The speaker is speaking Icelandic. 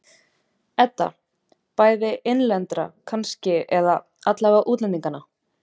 Edda: Bæði innlendra kannski, eða aðallega útlendinganna?